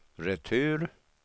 retur